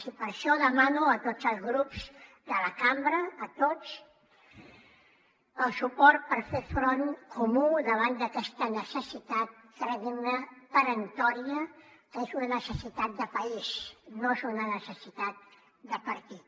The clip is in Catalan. i per això demano a tots els grups de la cambra a tots el suport per fer front comú davant d’aquesta necessitat creguin me peremptòria que és una necessitat de país no és una necessitat de partit